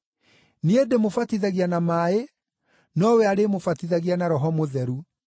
Niĩ ndĩmũbatithagia na maaĩ, nowe arĩmũbatithagia na Roho Mũtheru.”